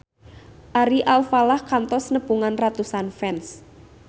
Ari Alfalah kantos nepungan ratusan fans